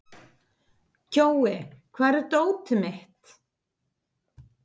Kjói, hvar er dótið mitt?